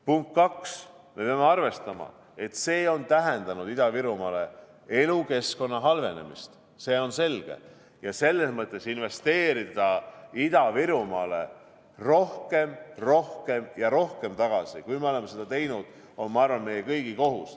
Punkt kaks, me peame arvestama, et see on tähendanud Ida-Virumaale elukeskkonna halvenemist, see on selge, ja selles mõttes investeerida Ida-Virumaale rohkem, rohkem ja rohkem, kui me oleme seda teinud, on, ma arvan, meie kõigi kohus.